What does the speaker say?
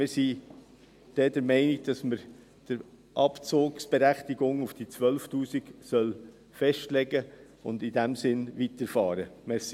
Wir sind der Meinung, dass man dann die Abzugsberechtigung auf 12 000 Franken festsetzen und in diesem Sinn fortfahren soll.